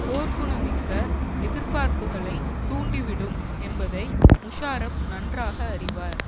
போர்க்குணமிக்க எதிர்பார்ப்புகளை தூண்டி விடும் என்பதை முஷாரப் நன்றாக அறிவார்